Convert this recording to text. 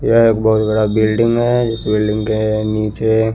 यह एक बहोत बड़ा बिल्डिंग है इस बिल्डिंग के निचे--